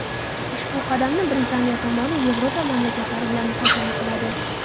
Ushbu qadamni Britaniya tomoni Yevropa mamlakatlari bilan muhokama qiladi.